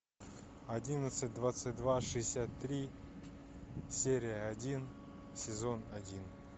одиннадцать двадцать два шестьдесят три серия один сезон один